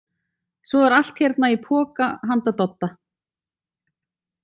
Svo er allt hérna í poka handa Dodda.